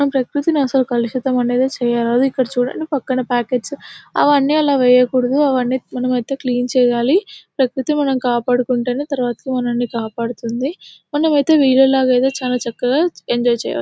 మన ప్రకృతి అసలు కలుషితం అనేది చేయకూడదు ఇక్కడ చుడండి పక్కన పాకెట్స్ అవన్నీ ఆలా వేయకూడదు అవన్నీ ఐతే మనం క్లీన్ చెయ్యాలి ప్రకృతిని మనం కాపాడుకుంటేనే తర్వాత మనల్ని కాపాడుతుంది మనం ఐతే ఐతే చాలా చక్కగా ఎంజాయ్ చెయ్యొచ్చు.